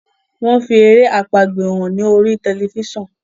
wón fí èrè àpagbè hàn ní orí Tẹlifísàn.